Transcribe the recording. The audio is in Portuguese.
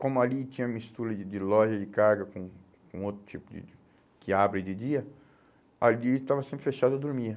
Como ali tinha mistura de de loja de carga com com com outro tipo de que abre de dia, ali estava sempre fechado e eu dormia.